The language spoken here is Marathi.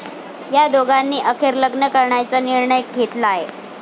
या दोघांनी अखेर लग्न करण्याचा निर्णय घेतलाय.